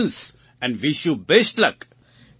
so congratulation and wish you best luck